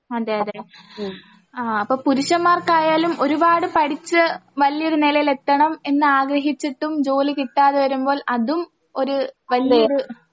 അതെയതെ അപ്പൊ പുരുഷന്മാർക്കായാലും ഒരുപാട് പഠിച്ച് വല്ല്യൊരു നെലയിലെത്തണം എന്നാഗ്രഹിച്ചിട്ടും ജോലി കിട്ടാതെ വരുമ്പോൾ അതും ഒര് വല്ല്യൊര്